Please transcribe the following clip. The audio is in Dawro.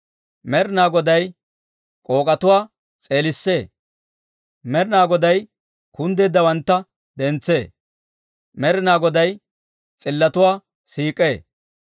Med'inaa Goday k'ook'etuwaa s'eelissee. Med'inaa Goday kunddeeddawantta dentsee; Med'inaa Goday s'illotuwaa siik'ee.